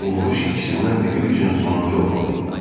Bu vuruş ikisindən biri üçün sonuncu olmalı idi.